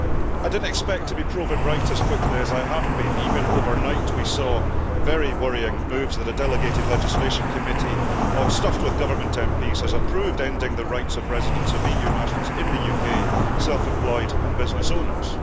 I didn't expect to be proven right as quickly as I have been. Even overnight we saw very worrying moves that a delegated legislation committee stuffed with Government MPs has approved ending the rights of residents of EU nationals in the UK self employed and business owners.